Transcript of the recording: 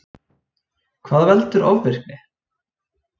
Hvað veldur ofvirkni?